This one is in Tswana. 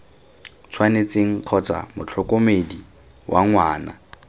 tshwanetseng kgotsa motlhokomedi wa ngwana